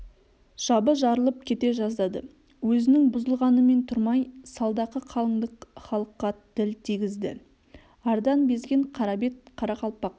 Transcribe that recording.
жабы жарылып кете жаздады өзінің бұзылғанымен тұрмай салдақы қалыңдық халыққа тіл тигізді ардан безген қарабет қарақалпақ